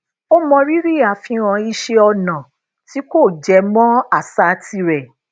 ó mọrírì àfihàn iṣé ọnà tí kò jẹ mọ àṣà tirè